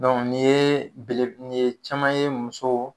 Dɔnku nin bele nin ye caman ye muso